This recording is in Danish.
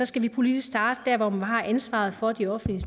skal vi politisk starte der hvor man har ansvaret for de offentlige